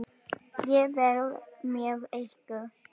Ég verð með ykkur.